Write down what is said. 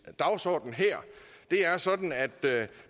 dagsorden her det er sådan at